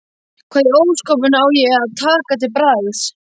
Hvað í ósköpunum á ég að taka til bragðs?